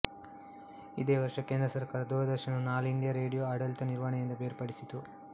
ಇದೇ ವರ್ಷ ಕೆಂದ್ರಸರ್ಕಾರ ದೂರದರ್ಶನವನ್ನು ಆಲ್ ಇಂಡಿಯ ರೇಡಿಯೋ ಆಡಳಿತ ನಿರ್ವಹಣೆಯಿಂದ ಬೇರ್ಪಡಿಸಿತು